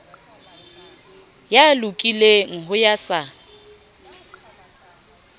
ya lokileng ho ya sa